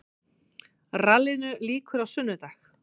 Rallinu lýkur á sunnudag